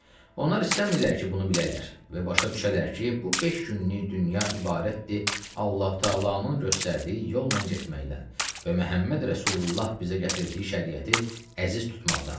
Onlar istəmirlər ki, bunu bilərlər və başa düşərlər ki, bu beş günlük dünya ibarətdir Allahu təalanın göstərdiyi yolla getməkdən və Məhəmməd Rəsulullah bizə gətirdiyi şəriəti əziz tutmaqdan.